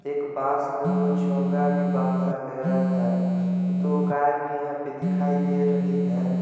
एक बास में दो चोंगा भी बांधा गया है दो गाय भी यहां पर दिखाई दे रही है।